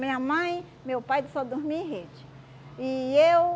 Minha mãe, meu pai, só dormia em rede. E eu